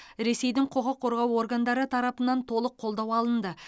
ресейдің құқық қорғау органдары тарапынан толық қолдау алынды